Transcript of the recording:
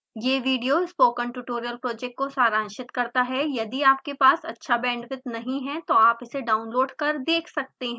यह video spoken tutorial project को सारांशित करता है यदि आपके पास अच्छा बैंडविड्थ नहीं है तो आप इसे डाउनलोड कर देख सकते हैं